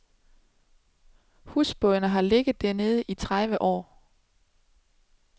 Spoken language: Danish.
Husbådene har ligget dernede i tredive år.